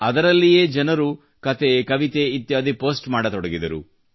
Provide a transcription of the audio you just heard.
ಅದರಲ್ಲಿಯೇ ಜನರು ಕತೆ ಕವಿತೆ ಇತ್ಯಾದಿ ಪೋಸ್ಟ್ ಮಾಡತೊಡಗಿದರು